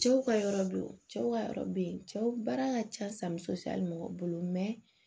Cɛw ka yɔrɔ be yen cɛw ka yɔrɔ be yen cɛw baara ka ca san muso hali mɔgɔ bolo